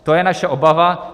To je naše obava.